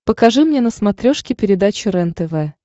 покажи мне на смотрешке передачу рентв